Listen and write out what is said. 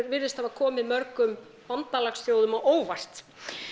virðist hafa komið mörgum bandalagsþjóðum á óvart